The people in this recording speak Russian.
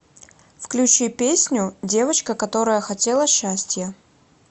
включи песню девочка которая хотела счастья